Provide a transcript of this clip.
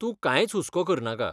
तूं कांयच हुसको करनाका.